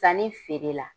Sanni feere la